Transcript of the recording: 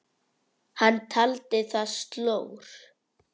Hann taldi það slór.